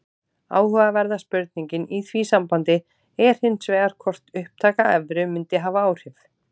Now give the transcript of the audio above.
Áhugaverða spurningin í því sambandi er hins vegar hvort upptaka evru mundi hafa áhrif.